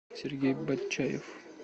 сергей батчаев